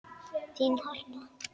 Þín Harpa.